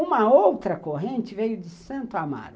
Uma outra corrente veio de Santo Amaro.